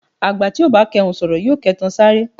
Àgbà tí ò bá kẹhùn sọ̀rọ̀ yóò kẹtan sáré.